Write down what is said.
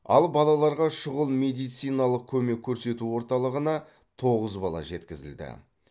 ал балаларға шұғыл медициналық көмек көрсету орталығына тоғыз бала жеткізілді